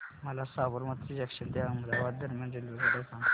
मला साबरमती जंक्शन ते अहमदाबाद दरम्यान रेल्वेगाड्या सांगा